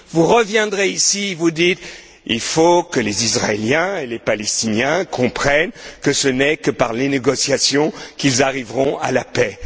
Vous reviendrez ici et vous direz Il faut que les Israéliens et les Palestiniens comprennent que ce n'est que par les négociations qu'ils arriveront à la paix.